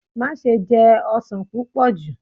Maṣe jẹ ọsan pupọ ju!